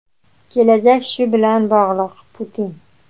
kelajak shu bilan bog‘liq – Putin.